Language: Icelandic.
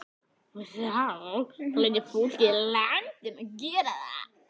En það hlýtur fólkið í landinu að gera.